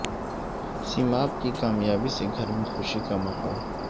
سیماب کی کامیابی سے گھر میں خوشی کا ماحول